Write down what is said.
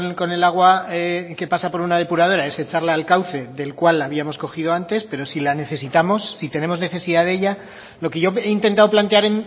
con el agua que pasa por una depuradora es echarla al cauce del cual la habíamos cogido antes pero si la necesitamos si tenemos necesidad de ella lo que yo he intentado plantear